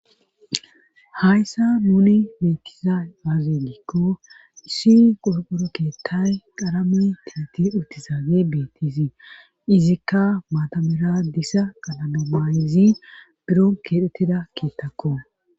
hayssa nuni beettiza aaze giikko issi qorqoro keettay qarame tineti uttisaage beettizii izikka maatamera dissa qananamayizi biro keedhettida kiittakko